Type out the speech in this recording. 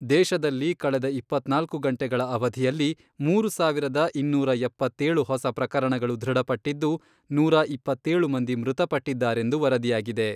ದೇಶದಲ್ಲಿ ಕಳೆದ ಇಪ್ಪತ್ನಾಲ್ಕು ಗಂಟೆಗಳ ಅವಧಿಯಲ್ಲಿ ಮೂರು ಸಾವಿರದ ಇನ್ನೂರ ಎಪ್ಪತ್ತೇಳು ಹೊಸ ಪ್ರಕರಣಗಳು ದೃಢಪಟ್ಟಿದ್ದು, ನೂರಾ ಇಪ್ಪತ್ತೇಳು ಮಂದಿ ಮೃತಪಟ್ಟಿದ್ದಾರೆಂದು ವರದಿಯಾಗಿದೆ.